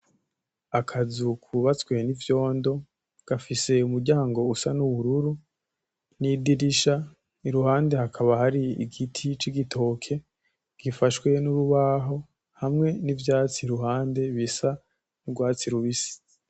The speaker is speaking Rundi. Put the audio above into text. Akazu kubatswe n'ivyondo gafise umuryango usa n'ubururu nidirisha iruhande hakaba hari igiti c'igitoke gifashwe n'urubaho hamwe n'ivyatsi iruhande bisa m'urwatsi rubisi.